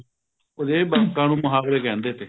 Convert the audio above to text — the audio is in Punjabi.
ਉਹ ਜਿਹੜੇ ਵਾਕਾਂ ਨੂੰ ਮਹਾਵਰੇ ਕਹਿੰਦੇ ਤੇ